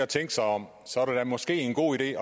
tænke sig om så er det måske en god idé